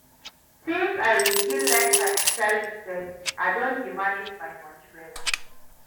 Since I begin learn financial literacy, I don dey manage my moni wella.